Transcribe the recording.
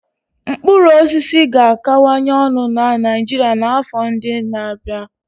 Mkpụrụ osisi ga-akawanye ọnụ na Niijiria n'afọ ndị n'abia.